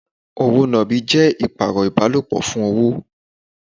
Òwò nàbì jẹ́ ìpààrọ̀ ìbálòpọ̀ fún owó.